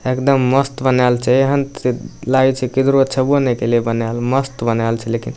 एकदम मस्त बनाएल छे एहन त लागे छे की नै कैले बनाएल मस्त बनाएल छे लेकिन।